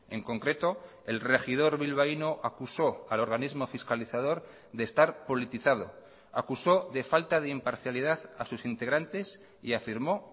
en concreto el regidor bilbaíno acusó al organismo fiscalizador de estar politizado acusó de falta de imparcialidad a sus integrantes y afirmó